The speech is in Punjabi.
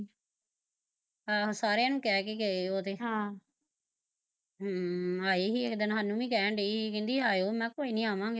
ਆਹੋ ਸਾਰਿਆ ਨੂੰ ਕਹਿ ਕੇ ਗਏ ਓਹ ਤੇ ਹਮ ਆਏ ਸੀ ਇੱਕ ਦਿਨ ਸਾਨੂੰ ਵੀ ਕਹਿਣ ਡਏ ਸੀ ਕਹਿੰਦੀ ਆਇਓ, ਮੈਂ ਕਿਹਾ ਕੋਈ ਨੀ ਆਵਾਂਗੇ